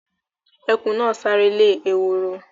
Ẹkùn náà sáré lè ehoro